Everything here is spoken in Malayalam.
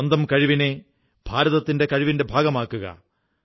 സ്വന്തം കഴിവിനെ ഭാരതത്തിന്റെ കഴിവിന്റെ ഭാഗമാക്കുക